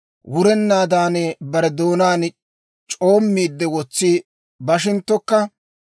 wurennaadan bare doonaan c'oommiide, wotsi bashinttokka,